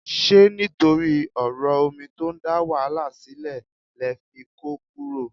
Ṣé nítorí ọ̀rọ̀ omi tó ń dá wàhálà sílẹ̀ lẹ fi kó kúrò?